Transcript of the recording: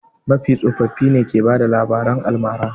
Mafiya tsoffi ne ke bada labaran almara.